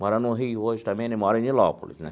Mora no Rio hoje também, ele mora em Nilópolis, né?